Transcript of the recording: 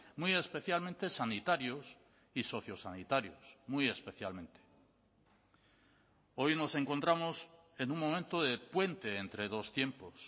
muy especialmente sanitarios y sociosanitarios muy especialmente hoy nos encontramos en un momento de puente entre dos tiempos